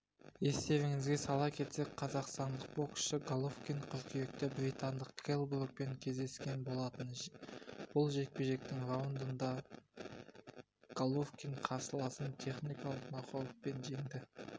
естеріңізге сала кетсек қазақстандық боксшы головкин қыркүйекте британдық келл брукпен кездескен болатын бұл жекпе-жектің раундында головкин қарсыласын техникалық нокаутпен жеңді